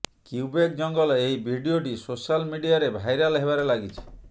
Quebec ଜଙ୍ଗଲ ଏହି ଭିଡିଓଟି ସୋଶାଲ୍ ମିଡିଆରେ ଭାଇରାଲ୍ ହେବାରେ ଲାଗିଛି